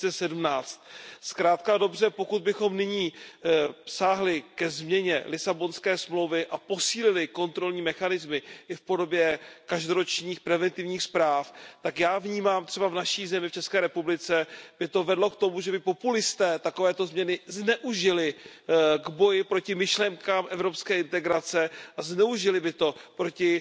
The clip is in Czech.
2017. Zkrátka a dobře, pokud bychom nyní sáhli ke změně Lisabonské smlouvy a posílili kontrolní mechanismy i v podobě každoročních preventivních zpráv, tak já vnímám, že třeba v mé zemi, v České republice, by to vedlo k tomu, že by populisté takovéto změny zneužili k boji proti myšlenkám evropské integrace a zneužili by to proti